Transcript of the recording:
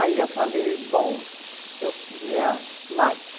Aí eu falei, bom, eu queria mais.